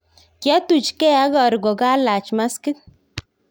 Kiatuch gee ak aru kokalach maskit